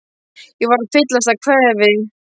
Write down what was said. Ég er að fyllast af kvefi.